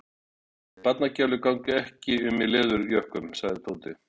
Nei, barnagælur ganga ekki um í leðurjökkum sagði Tóti.